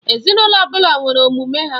Ezinụlọ ọbụla nwere omume ha.